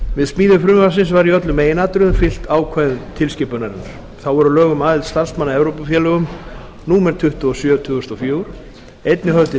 við smíði frumvarpsins var í öllum meginatriðum fylgt ákvæðum tilskipunarinnar þá voru lög um aðild starfsmanna að evrópufélögum númer tuttugu og sjö tvö þúsund og fjögur einnig höfð til